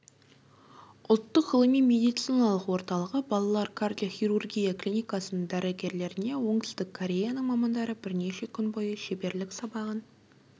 ұлттық ғылыми медициналық орталығы балалар кардиохирургия клиникасының дәрігерлеріне оңтүстік кореяның мамандары бірнеше күн бойы шеберлік сабағын